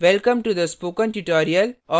welcome to the spokentutorial और